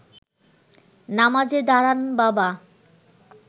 নামাজে দাঁড়ান বাবা